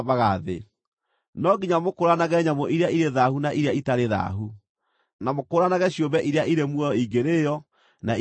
No nginya mũkũũranage nyamũ iria irĩ thaahu na iria itarĩ thaahu, na mũkũũranage ciũmbe iria irĩ muoyo ingĩrĩĩo na iria itangĩrĩĩo.’ ”